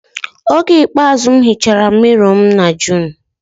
Oge ikpeazụ m hichara ụzọ mirrow m na June